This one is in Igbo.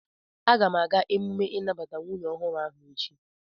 Aga m aga emume inabata nwunye ohuru ahu echi